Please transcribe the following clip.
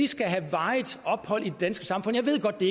skal have varigt ophold i det danske samfund jeg ved godt at det